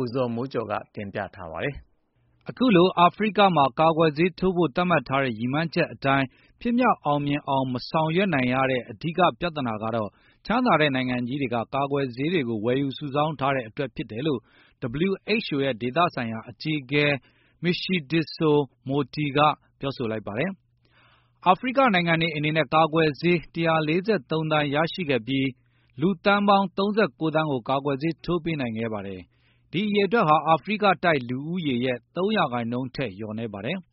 ိုဇော်မိုးကျော်--ကတင်ပြပေးပါမယ် အခုလို အာဖရိကမှာ ကာကွယ်ဆေးထိုးဖို သတ်မှတ်ထားတဲ့ ကမ္ဘာလုံးဆိုင်ရာရည်မှန်းအချက်အတိုင်း ဖြစ်မြောက်အောင်မဆောင်ရွက် နိုင်ငံရတဲ့အဓိက ပြဿနာကတော့ ချမ်းသာတဲ့နိုင်ငံကြီးတွေက ကာကွယ်ဆေးတွေကို ဝယ်ယူစုဆောင်းထားတဲ့အတွက်ဖြစ်တယ်လို့ WHO ရဲ့ ဒေသဆိုင်ရာအကြီးအကဲ မရှီဒစ်ဆို မိုတီက Matshidiso Moeti ပြောဆိုလိုက်ပါတယ်။ အာဖရိက နိုင်ငံတွေအနေနဲ့ ကာကွယ်ဆေး ၁၄၃ သန်းရရှိခဲ့ပြီး လူသန်းပေါင်း ၃၉ သန်းကို ကာကွယ်ဆေးထိုးပေးနိုင်ခဲ့ပါတယ်၊ ဒီအရေအတွက်ဟာ အာဖရိကတိုက်လူဦးရေရဲ့ ၃ ရာနှုန်းထက်လျော့နည်းကြောင်း။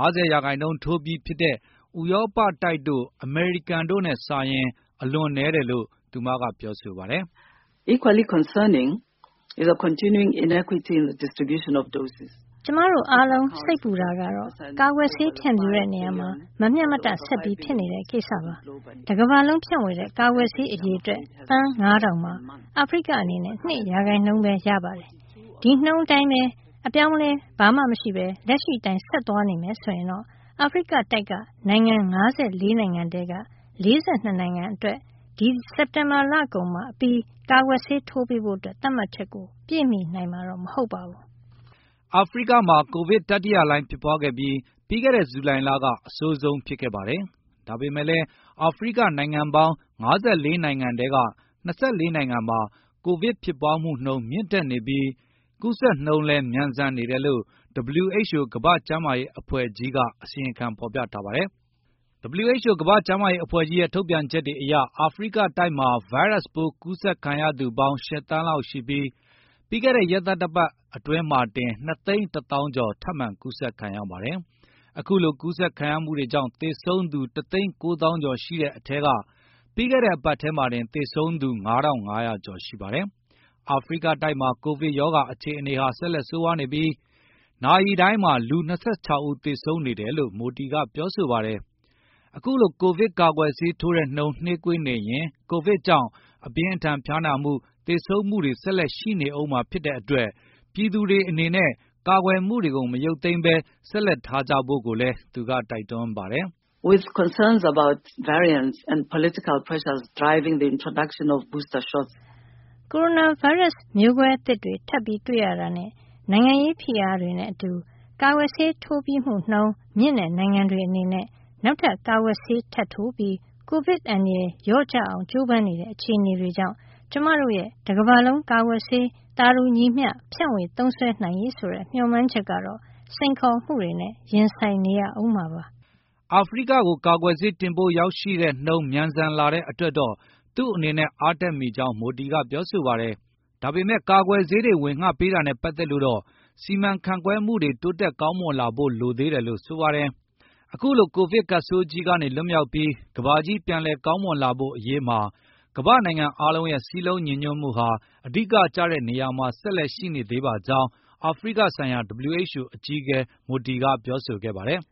၅၀ ရာနှုန်းထိုးထားပြီးဖြစ်တဲ့ ဥရောပတိုက်တို့ အမေရိကန်တို့နဲ့စာလိုက်ရင် အလွန်နည်းတယ်လို့ သူမက ပြောဆိုပါတယ်။ "ကျမတို့အားလုံး စိတ်ပူတာကတော့ ကာကွယ်ဆေး ဖြန့်ဖြူးတဲ့နေရာမှာ မမျှမတဆက်ဖြစ်နေတဲ့ကိစ္စပါ၊ တကမ္ဘာလုံးဖြန့်ဝေတဲ့ ကာကွယ်ဆေးအရေအတွက် သန်း ၅ ထောင်မှာအာဖရိကအနေနဲ့ ၂ ရာခိုင်ဘဲရပါတယ်။ ဒီ ရာနှုန်းအတိုင်း အပြောင်းအလဲမရှိဘဲ လက်ရှိအတိုင်းဆက်သွားမယ်ဆိုရင်တော့ အာဖရိကတိုက်က နိုင်ငံ ၅၄ နိုင်ငံထဲက ၄၂ နှစ်နိုင်ငံကို ဒီစက်တင်ဘာလကုန် အပြီး ကာကွယ်ဆေးထိုးပေးဖို့ သတ်မှတ်ချက်ကို ပြည့်မှီနိုင်မှာမဟုတ်ပါဘူး" အာဖရိကမှာ ကိုဗစ်တတိယလှိုင်းဖြစ်ပွားခဲ့ပြီး၊ ပြီးခဲ့တဲ့ ဇူလိုင်လ က အဆိုးဆုံးဖြစ်ခဲ့ပါတယ်။ ဒါပေမယ့်လည်း အာဖရိကနိုင်ငံပေါင်း ၅၄ နိုင်ငံထဲက ၂၄ နိုင်ငံမှာ ကိုဗစ်ဖြစ်ပွားမှုမြင့်တက်နေပြီး ကူးဆက်နှုန်းလည်း မြန်ဆန်နေတယ်လို့ WHO ကမ္ဘာ့ကျမ်းမာရေးအဖွဲ့ကြီးက အစီရင်ခံဖေါ်ပြထားပါတယ်။ WHO ကမ္ဘာ့ကျမ်းရေးအဖွဲ့ကြီးရဲ့ ထုတ်ပြန်ချက်တွေအရ အာဖရိကတိုက်မှာ ဗိုင်းရပ်စ်ပိုးကူးဆက်ခံရသူပေါင်း ၈ သန်းလောက်ရှိပြီး၊ ပြီးခဲ့တဲ့ ရက်သတ္တပတ်အတွင်းမှာတင် ကူးဆက်သူ ၂ သိန်း ၁ သောင်း ကျော်ထပ်မံကူးဆက်ခံရပါတယ်။ အခုလိုကူးဆက်မှုတွေကြောင့် သေဆုံးသူ ၁ သိန်း ၉ သောင်းကျော်ရှိတဲ့အထဲက ပြီးခဲ့တဲ့အပတ်ထဲမှာတင် သေဆုံးသူ ၅၅၀၀ ကျော်ရှိပါတယ်။ အာဖရိကတိုက်မှာ ကိုဗစ်ရောဂါအခြေအနေဟာ ဆက်လက်ဆိုးရွားနေပြီး၊ နာရီတိုင်းမှာ လူ ၂၆ ဦးဆေသုံးနေတယ်လို့ မိုတီ ကပြောဆိုပါတယ်။ ကိုဗစ်ကာကွယ်ဆေးထိုးတဲ့နှုန်းနှေးကွေးနေရင် ကိုဗစ်ကြောင့်အပြင်းအထန်ဖျားနာမှု သေဆုံးမှုတွေဆက်လက်ရှိနေဦးမှာဖြစ်တဲ့အတွက် ပြည်သူတွေအနေနဲ့ ကာကွယ်မှုတွေကို မရုတ်သိမ်းဘဲဆက်လက်ထားကြဖို့ကိုလည်းသူကတိုက်တွန်းပါတယ်။ ကိုဗစ်ဗိုင်းရပ် မျိုးကွဲများသစ်တွေထပ်တွေ့ရတာနဲ၊ နိုင်ငံရေးဖိအားတွေနဲ့အတူ၊ ကာကွယ်ဆေးထိုးပြီးမှုနှုန်းမြင့်တဲ့နိုင်ငံတွေအနေနဲ့ နောက်ထပ်ကာကွယ်ဆေးထပ်ထိုးပြီး ကိုဗစ်အန္တရယ်လျော့ကျလာအောင်ကျိုးပမ်းမှု စတဲ့အခြေအနေတွေကြောင့် ကျမတို့ရဲ့ တကမ္ဘာလုံးကာကွယ်ဆေး သာတူညီမျှ ဖြန့်ဝေသုံးစွဲနိုင်ရေးဆိုတဲ့ မျှော်မှန်းချက်ကတော့ စိန်ခေါ်မှုတွေနဲ့ ရင်ဆိုင်နေရာဦးမှာပါ။ အာဖရိကကို ကာကွယ်ဆေး တင်ပို့ရောက်ရှိနှုန်းမြန်ဆန်လာတဲ့အတွက်တော့ သူ့အနေနဲ့အားတက်မိကြောင်း မိုတီက ပြောဆိုပါတယ်။ ဒါပေမယ့် ကာကွယ်ဆေးတွေ ဝေငှပေးတာနဲ့ပတ်သက်လို့တော့ စီမံခန့်ခွဲမှုတွေ တိုးတက်ကောင်းမွန်လာဖို့ လိုသေးတယ်လို့ ဆိုပါတယ်။ အခုလို ကိုဗစ်ကပ်ဆိုးကြီးကနေ လွတ်မြောက်ပြီး ကမ္ဘာကြီးပြန်လည်ကောင်းမွန်လာဖို့ အရေးမှာ ကမ္ဘာ့နိုင်ငံအားလုံးရဲ့စည်းလုံးညီညွတ်မှုဟာ အဓိကကျတဲ့နေရာမှာဆက်လက်ရှိနေသေးပါကြောင်း အာဖရိကဆိုင်ရာ WHO အကြီးအကဲ မိုတီက ပြောဆိုခဲ့ပါတယ်